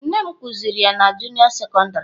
Nne m kuziri ya na juniọ sekondarị.